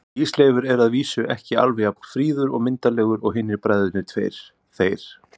Ísleifur er að vísu ekki alveg jafn fríður og myndarlegur og hinir bræðurnir tveir, þeir